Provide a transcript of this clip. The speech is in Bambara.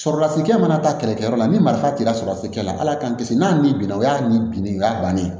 Sɔrɔlasikɛ mana taa kɛlɛkɛyɔrɔ la ni marifa t'i la surasi kɛla ala k'an kisi n'a ni bin o y'a ni bin ne y'a bannen